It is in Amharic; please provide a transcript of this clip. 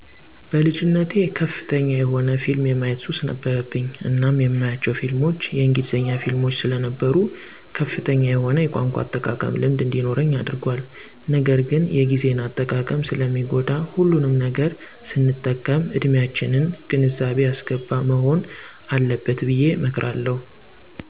በልጅነቴ ከፍተኛ የሆነ ፊልም የማየት ሱስ ነበረብኝ እናም የማያቸው ፊልሞች የእንግሊዘኛ ፊልሞች ሰለነበሩ ከፍተኛ የሆነ የቋንቋ አጠቃቀም ልምድ እንዲኖረኝ አድርጓል ነገርግን የግዜን አጠቃቀም ሰለሚጎዳ ሁሉንም ነገር ሰንጠቀም እድሚያችንን ግንዛቤ ያሰገባ መሆን አለበት ብየ እመክራለሁ።